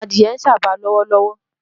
Adìẹ ń sába lọ́wọ́lọ́wọ́